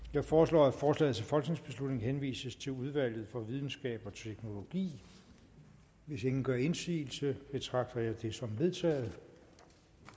jeg foreslår at forslaget til folketingsbeslutning henvises til udvalget for videnskab og teknologi hvis ingen gør indsigelse betragter dette som vedtaget